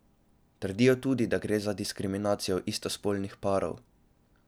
Trdijo tudi, da gre za diskriminacijo istospolnih parov.